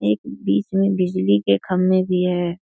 एक बीच मे बिजली के खंभे भी हैं।